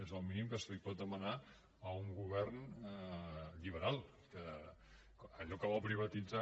és el mínim que es pot demanar a un govern liberal que allò que vol privatitzar